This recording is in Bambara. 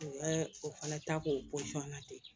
U ka o fana ta k'o na ten